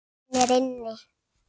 Hann er inni.